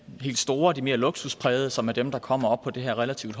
helt store og mere luksusprægede som er dem der kommer op på det her relativt